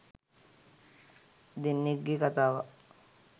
දෙන්නෙක්ගේ කතාවක්.